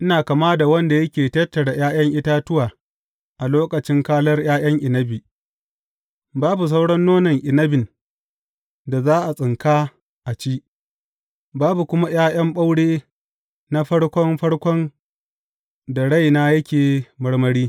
Ina kama da wanda yake tattara ’ya’yan itatuwa a lokacin kalar ’ya’yan inabi; babu sauran nonon inabin da za a tsinka a ci, babu kuma ’ya’yan ɓaure na farko farkon da raina yake marmari.